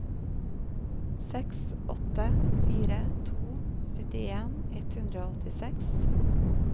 seks åtte fire to syttien ett hundre og åttiseks